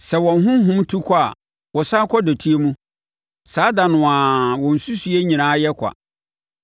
Sɛ wɔn honhom tu kɔ a, wɔsane kɔ dɔteɛ mu, saa da no ara wɔn nsusuiɛ nyinaa yɛ kwa.